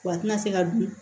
Wa a tɛna se ka dun